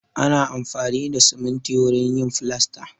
Ana amfani da siminti wurin yin filasta.